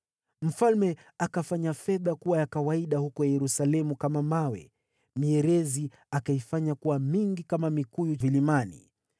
Mfalme akafanya fedha kuwa kitu cha kawaida kama mawe huko Yerusalemu, mierezi akaifanya kuwa mingi kama mikuyu vilimani.